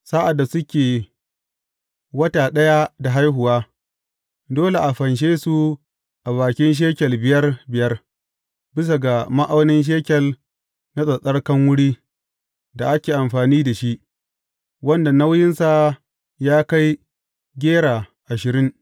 Sa’ad da suke wata ɗaya da haihuwa, dole a fanshe su a bakin shekel biyar biyar, bisa ga ma’aunin shekel na tsattsarkan wuri da ake amfani da shi, wanda nauyinsa ya kai gera ashirin.